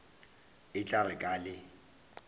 e tla re ka le